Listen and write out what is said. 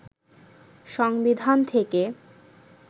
সংবিধান থেকে